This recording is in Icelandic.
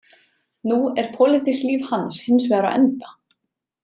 Nú er pólitískt líf hans hins vegar á enda.